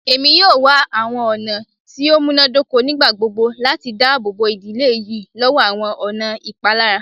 Emi yoo wa awọn ọna ti o munadoko nigbagbogbo lati daabobo idile yii lọwọ awọn ọna ipalara